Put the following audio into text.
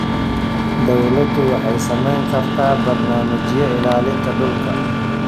Dawladdu waxay samayn kartaa barnaamijyo ilaalinta dhulka.